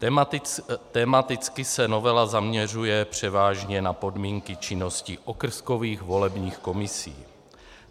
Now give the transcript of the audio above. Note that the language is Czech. Tematicky se novela zaměřuje převážně na podmínky činnosti okrskových volebních komisí.